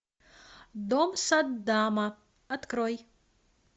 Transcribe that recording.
дом саддама открой